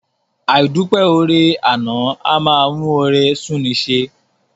Àìdúpẹ́ oore àná a máa mú oore sú'ni í ṣe.